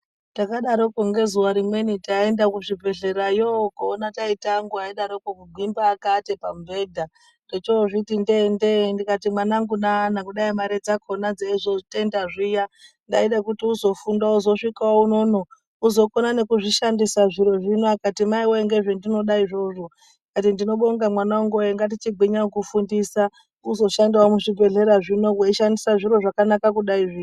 Takadarokwo ngezuva rimweni taenda kuzvibhedhlerayo koona taita angu aidarokwo kugwimba akaate pamubhedha. Techozviti ndee ndee ndikati mwanangu nana kudai mari dzakona dzeizotenda zviya ndaida kuti uzofunda uzosvikawo unono uzokona nekuzvishandisa zviro zvino. Akati ,"maiwee ngezvendinoda izvozvo".Ndikati ndinobonga mwananguwe ngatichigwinya kukufundisa uzoshandewo muzvibhedhlera zvino weishandisa zviro zvakanaka kudaizvi.